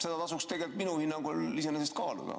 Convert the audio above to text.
Seda tasuks minu hinnangul iseenesest kaaluda.